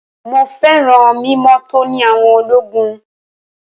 Mọ féràn mímọ́ tóní àwọn ológun.